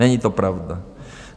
Není to pravda!